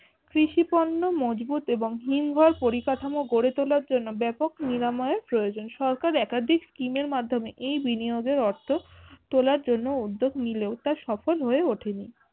কৃষিপণ্য মজবুত এবং হীনবল পরিকাঠামো গড়ে তোলার জন্য ব্যাপক নিরাময়ের প্রয়োজন সরকার একাধিক স্কিমের মাধম্যে এই বিনিয়োগের অর্থ তোলার জন্য উদ্যেগ নিলেও তা সফল হয়ে উঠেনি।